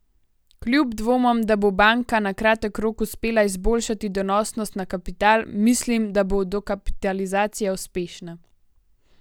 Kljub dvomom, da bo banka na kratek rok uspela izboljšati donosnost na kapital, mislim, da bo dokapitalizacija uspešna.